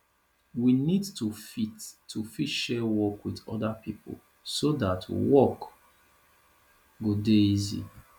we need to fit to fit share work with oda pipo so that work go dey easy